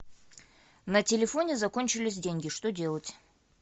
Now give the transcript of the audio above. на телефоне закончились деньги что делать